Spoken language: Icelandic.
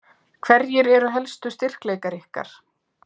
Hverjir eru helstu styrkleikar ykkar?